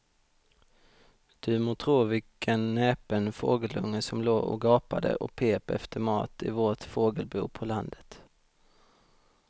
Du må tro vilken näpen fågelunge som låg och gapade och pep efter mat i vårt fågelbo på landet.